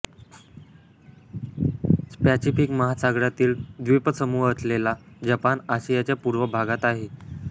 Pacific महासागरातील द्वीपसमूह असलेला जपान आशियाच्या पूर्व भागात आहे